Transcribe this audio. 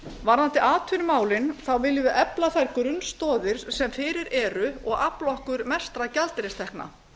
varðandi atvinnumálin viljum við efla þær grunnstoðir sem fyrir eru og afla okkur mestra gjaldeyristekna